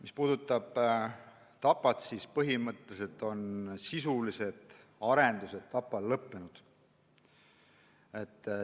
Mis puudutab Tapat, siis põhimõtteliselt on sisulised arendused Tapal lõppenud.